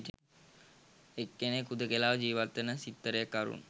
එක් කෙනෙක් හුදෙකලාව ජීවත්වෙන සිත්තරෙක් අරුන්